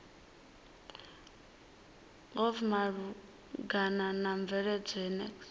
glpf malugana na mveledziso ya